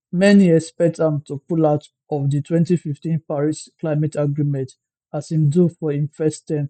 many expect am to pull out of di 2015 paris climate agreement as im do for im first term